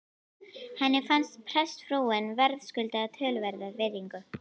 Henni fannst prestsfrúin verðskulda töluverða virðingu.